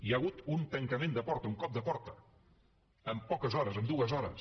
hi ha hagut un tancament de porta un cop de porta en poques hores en dues hores